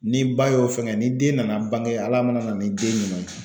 Ni ba y'o fɛngɛ ni den nana bange Ala mana na ni den ɲuman ye